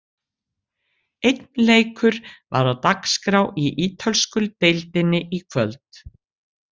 Einn leikur var á dagskrá í Ítölsku deildinni í kvöld.